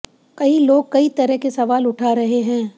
कई लोग कई तरह के सवाल उठा रहे हैं